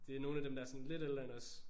Det er nogle af dem der er sådan lidt ældre end os